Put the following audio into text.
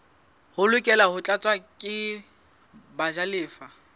lokela ho tlatswa ke bajalefa